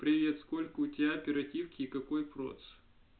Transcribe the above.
привет сколько у тебя оперативки и какой процессор